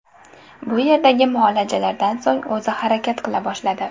Bu yerdagi muolajalardan so‘ng o‘zi harakat qila boshladi.